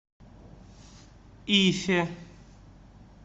ифе